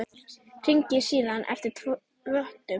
Hringir síðan eftir vottum.